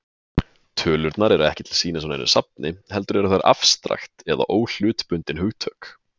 Tölurnar eru ekki til sýnis á neinu safni, heldur eru þær afstrakt eða óhlutbundin hugtök.